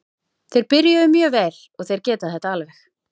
Þeir byrjuðu mjög vel og þeir geta þetta alveg.